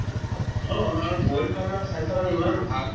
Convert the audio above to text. অ অ আৰু boil তো আমাৰ স্বাস্থ্যৰ কাৰণে ইমান ভাল